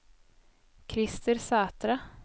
Christer Sætre